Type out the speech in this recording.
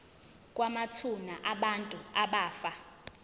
kwamathuna abantu abafa